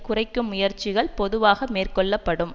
குறைக்கும் முயற்சிகள் பொதுவாக மேற்கொள்ள படும்